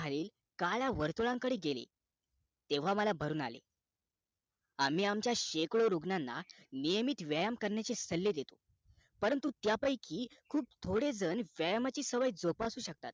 काळ्या वर्र्तुळाकडे गेले तेव्हा मला भरून आले आम्ही आमच्या शेकडो रुग्णना नियमित व्यायाम करण्याचे सल्ले देतो परंतु त्या पैकी खूप थोडे जण व्यायामाची सवय जोपासू शकता